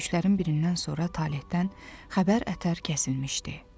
döyüşlərin birindən sonra Talehdən xəbər-ətər kəsilmişdi.